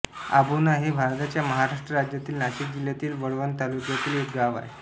आभोणा हे भारताच्या महाराष्ट्र राज्यातील नाशिक जिल्ह्यातील कळवण तालुक्यातील एक गाव आहे